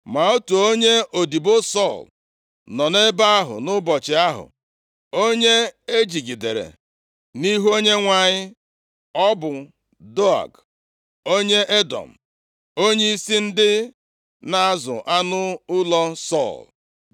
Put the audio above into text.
Ma otu onye odibo Sọl nọ nʼebe ahụ nʼụbọchị ahụ, onye e jigidere nʼihu Onyenwe anyị. Ọ bụ Doeg, onye Edọm onyeisi ndị na-azụ anụ ụlọ Sọl.